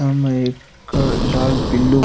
सामे एक लाल पिलो --